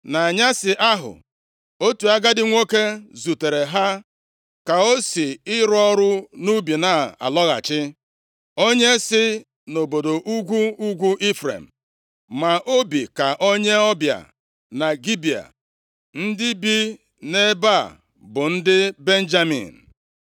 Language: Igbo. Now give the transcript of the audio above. Nʼanyasị ahụ, otu agadi nwoke zutere ha ka o si ịrụ ọrụ nʼubi na-alọghachi, onye si nʼobodo ugwu ugwu Ifrem, ma o bi ka onye ọbịa na Gibea (ndị bi nʼebe a bụ ndị Benjamin).